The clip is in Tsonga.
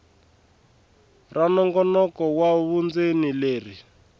ra nongonoko wa vundzeni leri